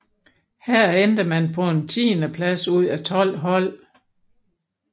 Her endte man på en tiendeplads ud af tolv hold